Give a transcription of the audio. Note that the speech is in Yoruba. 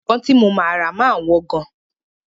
Ìbọn tí mo máa rà máa wọ́n gan.